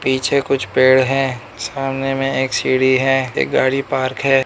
पीछे कुछ पेड़ हैं सामने में एक सीढ़ी है एक गाड़ी पार्क है।